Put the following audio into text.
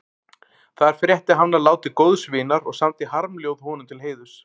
Þar frétti hann af láti góðs vinar og samdi harmljóð honum til heiðurs.